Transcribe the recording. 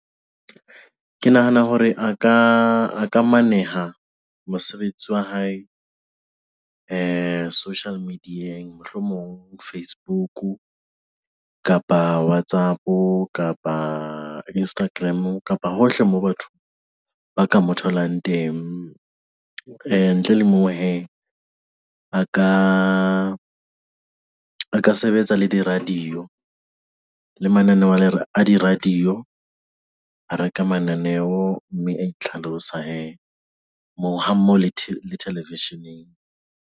Ke nahana hore a ka a ka maneha mosebetsi wa hae social media-eng, mohlomong Facebook kapa WhatsApp kapa Instagram kapa hohle moo ba ka mo tholang teng. A ntle le moo, hee a ka a ka sebetsa le di-radio le mananeo a di-radio, a reka mananeo mme a itlhalosa hee moo ha mmoho le television.